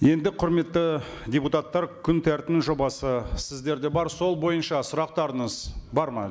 енді құрметті депутаттар күн тәртібінің жобасы сіздерде бар сол бойынша сұрақтарыңыз бар ма